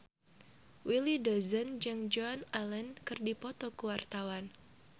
Willy Dozan jeung Joan Allen keur dipoto ku wartawan